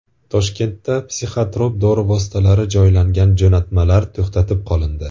Toshkentda psixotrop dori vositalari joylangan jo‘natmalar to‘xtatib qolindi.